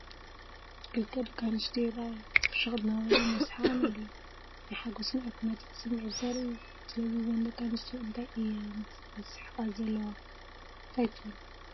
ክልተ ደቂ ኣንስትዮ ይርኣያ። ፍሽኽ እናበሉን እናሰሓቑን ኣለዉ። ናይ ሓጎስን ዕርክነትን ስምዒት ዘርኢ እዩ። ስለዚ፡ እዘን ደቂ ኣንስትዮ እንታይ እየን ዝስሕቓ ዘለዋ፡ እንታይ ትብሉ?